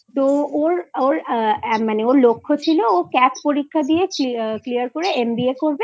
তো ওর লক্ষ্য ছিল যে ও CAT পরীক্ষা দিয়ে clear করে MBAকরবে